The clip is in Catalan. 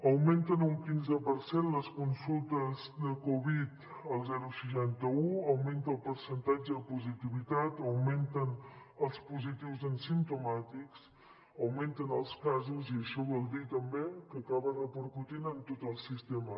augmenten un quinze per cent les consultes de covid al seixanta un augmenta el percentatge de positivitat augmenten els positius en simptomàtics augmenten els casos i això vol dir també que acaba repercutint en tot el sistema